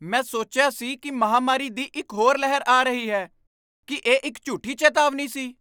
ਮੈਂ ਸੋਚਿਆ ਸੀ ਕਿ ਮਹਾਂਮਾਰੀ ਦੀ ਇੱਕ ਹੋਰ ਲਹਿਰ ਆ ਰਹੀ ਹੈ। ਕੀ ਇਹ ਇੱਕ ਝੂਠੀ ਚੇਤਾਵਨੀ ਸੀ?